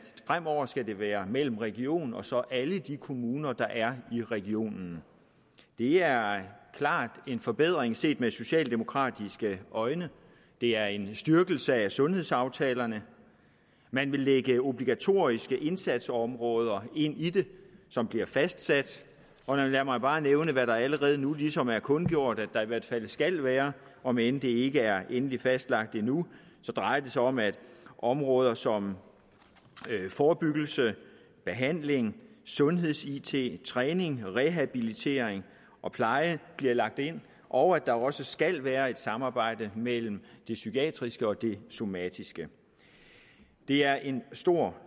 fremover skal være mellem region og så alle de kommuner der er i regionen det er klart en forbedring set med socialdemokratiske øjne det er en styrkelse af sundhedsaftalerne man vil lægge obligatoriske indsatsområder ind i det som bliver fastsat og lad mig bare nævne hvad der allerede nu ligesom er kundgjort der i hvert fald skal være om end det ikke er endelig fastlagt endnu drejer det sig om at områder som forebyggelse behandling sundheds it træning rehabilitering og pleje bliver lagt ind og at der også skal være et samarbejde mellem det psykiatriske og det somatiske det er en stor